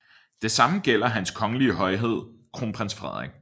Det samme gælder Hans Kongelige Højhed Kronprins Frederik